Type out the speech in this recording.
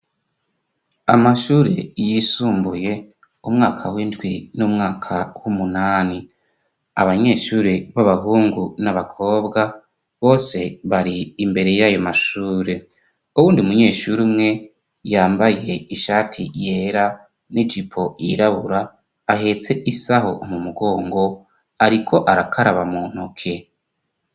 amashure yisumbuye umwaka w'indwi n'umwaka w'umunani abanyeshuri b'abahungu n'abakobwa bose bari imbere y'ayo mashure ubundi umunyeshuri umwe yambaye ishati yera n'ijipo yirabura ahetse isaho mu mugongo ariko arakaraba muntoke.